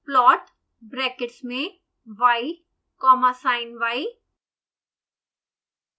plot brackets में y comma siny